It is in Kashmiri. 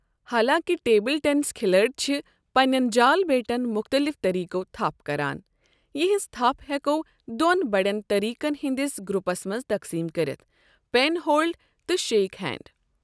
حالانٛکہِ ٹیبل ٹینس کھلٲڑۍ چھِ پننِٮ۪ن جال بیٹَن مختلف طریقَو تھپ کران، یِہنٛز تھپ ہٮ۪کَو دوٚن بڑٮ۪ن طریقَن ہِنٛدِس گروپس منٛز تقسیم کٔرِتھ، پین ہولڈ تہٕ شیک ہینڈ ۔